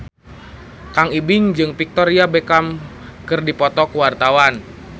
Kang Ibing jeung Victoria Beckham keur dipoto ku wartawan